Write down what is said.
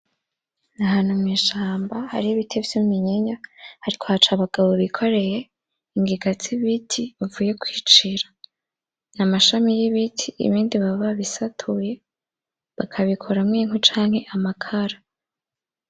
Ahantu mw'ishamba hari ibiti vy'iminyinya hariko haca abagabo bikoreye ingiga z'ibiti bavuye kwicira, n'amashami y'ibiti ibindi baba babisatuye. Bakabikoramo inkwe canke amakara.